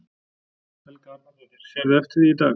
Helga Arnardóttir: Sérðu eftir því í dag?